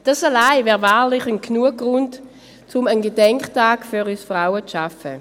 Dies alles wäre wahrlich Grund genug, um einen Gedenktag für uns Frauen zu schaffen.